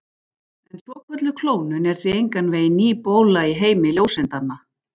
En svokölluð klónun er því engan veginn ný bóla í heimi ljóseindanna.